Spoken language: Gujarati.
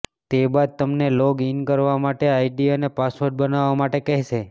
તે બાદ તમને લોગ ઇન કરવા માટે આઇડી અને પાસવર્ડ બનાવવા માટે કહેશે